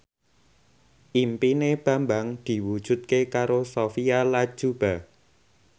impine Bambang diwujudke karo Sophia Latjuba